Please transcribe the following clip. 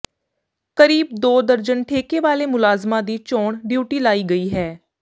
ਕਰੀਬ ਦੋ ਦਰਜਨ ਠੇਕੇ ਵਾਲੇ ਮੁਲਾਜ਼ਮਾਂ ਦੀ ਚੋਣ ਡਿਊਟੀ ਲਾਈ ਗਈ ਹੈ